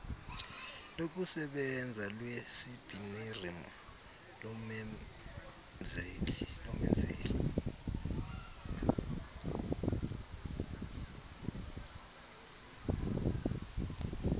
lokusebenza lwecbnrm lomenzeli